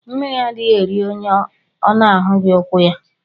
Mmiri adighi eri onye ọ na ahughi ukwu ya.